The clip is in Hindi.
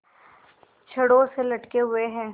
छड़ों से लटके हुए हैं